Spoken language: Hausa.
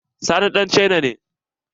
Sani ɗan cina ne.